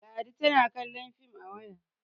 ladi tana kallon fim a waya